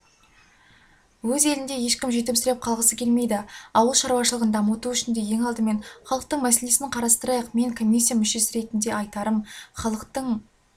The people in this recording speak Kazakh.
өз елінде ешкім жетімсіреп қалғысы келмейді ауыл шаруашылығын дамыту үшін де алдымен халықтың мәселесін қарастырайық мен комиссия мүшесі ретінде айтарым халықтың